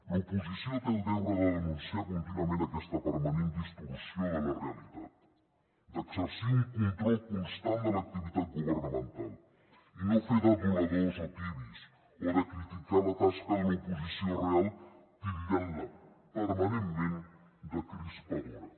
l’oposició té el deure de denunciar contínuament aquesta permanent distorsió de la realitat d’exercir un control constant de l’activitat governamental i no fer d’aduladors o tebis o de criticar la tasca de l’oposició real titllant la permanentment de crispadora